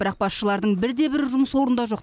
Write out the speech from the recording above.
бірақ басшылардың бірде бірі жұмыс орнында жоқ